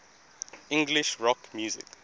english rock music